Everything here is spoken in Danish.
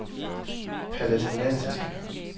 palæstinensiske